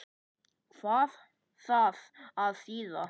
Hvað á það að þýða?